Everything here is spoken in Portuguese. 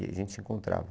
E a gente se encontrava.